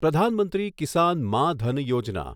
Pradhan Mantri Kisan Maan Dhan Yojana